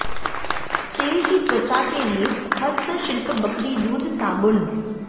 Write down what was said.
तेल की त्वचा के लिए हस्तशिल्प बकरी दूध साबुन